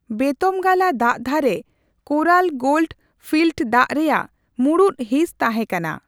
ᱵᱮᱛᱚᱢᱜᱟᱞᱟ ᱫᱟᱜᱫᱷᱟᱨᱮ Kolar gold field ᱫᱟᱜ ᱨᱮᱭᱟᱜ ᱢᱩᱬᱩᱫ ᱦᱤᱥ ᱛᱟᱦᱮ ᱠᱟᱱᱟ ᱾